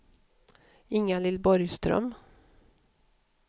Inga-Lill Borgström